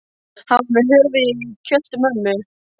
Hann var með höfuðið í kjöltu mömmu!